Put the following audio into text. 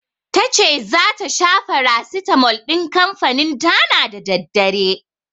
Tace zata sha farasitamol din kanfanin Dana da daddare.